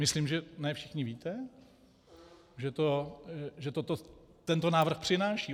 Myslím, že ne všichni víte, co tento návrh přináší.